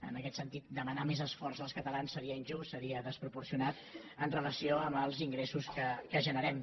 en aquest sentit demanar més esforç als catalans seria injust seria desproporcionat en relació amb els ingressos que generem